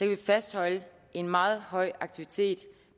kan fastholde en meget høj aktivitet